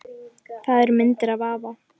Það eru myndir af afa